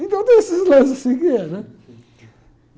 Então tem esses lances assim que é, né?